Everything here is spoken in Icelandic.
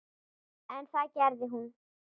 En það gerði hún.